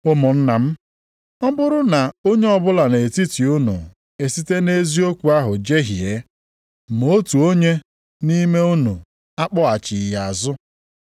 Ụmụnna m, ọ bụrụ na onye ọbụla nʼetiti unu esite nʼeziokwu ahụ jehie, ma otu onye nʼime unu akpọghachi ya azụ,